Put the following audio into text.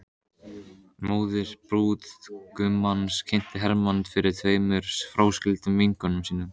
Móðir brúðgumans kynnti Hermann fyrir tveimur fráskildum vinkonum sínum.